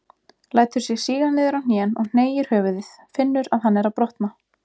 Lætur sig síga niður á hnén og hneigir höfuðið, finnur að hann er að brotna.